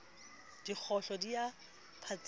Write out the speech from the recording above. dikgohlo di a phatsima ke